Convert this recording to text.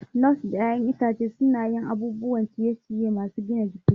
Nuts da 'ya'yan itace suna yin abubuwan ciye-ciye masu gina jiki.